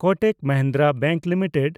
Kotak Mahindra bank limited